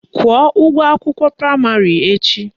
Kwụọ ụgwọ akwụkwọ praịmarị echi!